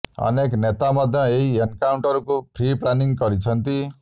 ଅନେକ ନେତା ମଧ୍ୟ ଏହି ଏନକାଉଣ୍ଟରକୁ ପ୍ରି ପ୍ଲାନିଂ କହିଛନ୍ତି